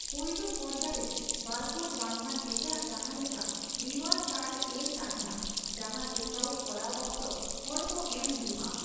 ᱯᱳᱭᱞᱳ ᱯᱚᱨᱫᱟ ᱨᱮ ᱵᱟᱨᱠᱳᱰ ᱵᱟᱝᱠᱷᱟᱱ ᱮᱴᱟᱜ ᱡᱟᱦᱟᱸ ᱞᱮᱠᱟ ᱨᱤᱣᱭᱟᱨᱰ ᱠᱟᱨᱰ ᱮᱞ ᱛᱟᱦᱮᱸᱱᱟ ᱡᱟᱦᱟᱸ ᱪᱮᱠᱼᱟᱣᱩᱴ ᱠᱚᱨᱟᱣ ᱚᱠᱛᱚ ᱦᱚᱲ ᱠᱚ ᱮᱢ ᱦᱳᱭᱳᱜᱼᱟ ᱾